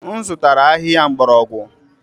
M zụtara ahịhịa mgbọrọgwụ.